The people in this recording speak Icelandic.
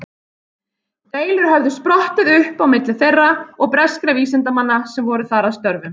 Deilur höfðu sprottið upp á milli þeirra og breskra vísindamanna sem voru þar að störfum.